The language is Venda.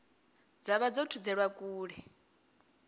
dza vha dzo thudzelwa kule